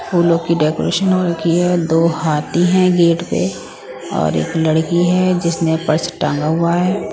फूलों की डेकोरेशन हो रखी है दो हाथी हैं गेट पे और एक लड़की है जिसने पर्स टांगा हुआ है।